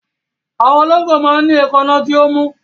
Àwọn olóńgbò máa ń ní èékánná tí ó mú.